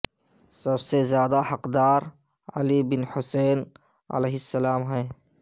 سب سے زیادہ حقدار علی بن حسین ع ہیں